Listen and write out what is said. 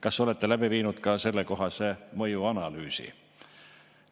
Kas olete läbi viinud ka sellekohase mõjuanalüüsi?